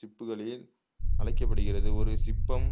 சிப்புகளில் அழைக்கப்படுகிறது ஒரு சிப்பம்